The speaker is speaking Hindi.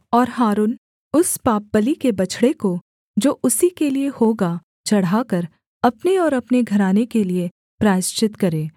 और हारून उस पापबलि के बछड़े को जो उसी के लिये होगा चढ़ाकर अपने और अपने घराने के लिये प्रायश्चित करे